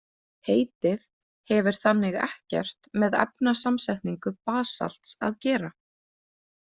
Heitið hefur þannig ekkert með efnasamsetningu basalts að gera.